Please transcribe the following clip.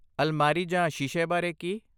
ਅਲਮਾਰੀ ਜਾਂ ਸ਼ੀਸ਼ੇ ਬਾਰੇ ਕੀ?